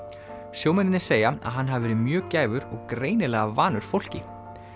sjómennirnir segja að hann hafi verið mjög og greinilega vanur fólki